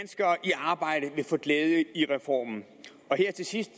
arbejde vil få glæde af reformen og her til sidst